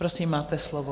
Prosím, máte slovo.